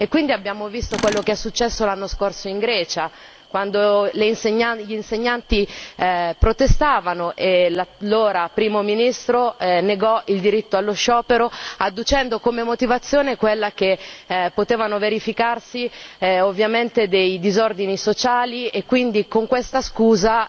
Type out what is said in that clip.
Quindi abbiamo visto quello che è successo l'anno scorso in Grecia, quando gli insegnanti protestavano e l'allora Primo ministro negò il diritto allo sciopero adducendo come motivazione quella che potevano verificarsi ovviamente dei disordini sociali e con questa scusa